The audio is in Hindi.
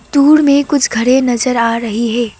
दूर में कुछ घरें नजर आ रही है।